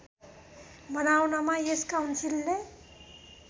बनाउनमा यस काउन्सिलले